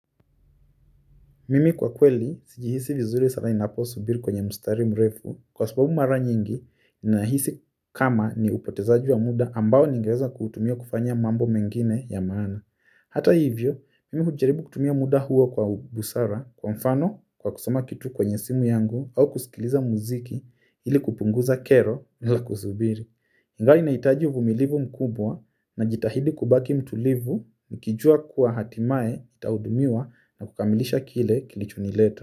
Mimi kwa kweli, sijihisi vizuri sana inaposubiri kwenye mustari mrefu, kwa sababu mara nyingi, ninahisi kama ni upotezaji wa muda ambao ningeweza kutuumia kufanya mambo mengine ya maana. Hata hivyo, mimi kujaribu kutumia muda huo kwa busara kwa mfano kwa kusoma kitu kwenye simu yangu au kusikiliza muziki ili kupunguza kero za kusubiri. Ingawa nahitaji uvumilivu mkubwa najitahidi kubaki mtulivu nikijua kuwa hatimae nitaudumiwa na kukamilisha kile kilichonileta.